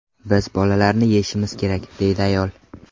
Biz bolalarni yeyishimiz kerak”, deydi ayol.